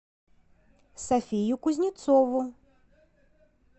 софию кузнецову